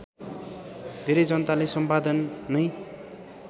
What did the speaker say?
धेरै जनाले सम्पादन नै